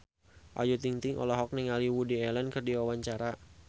Ayu Ting-ting olohok ningali Woody Allen keur diwawancara